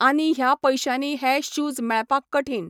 आनी ह्या पयशानी हे शूज मेळपाक कठीन